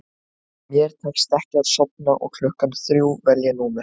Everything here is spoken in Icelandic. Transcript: Mér tekst ekki að sofna og klukkan þrjú vel ég númer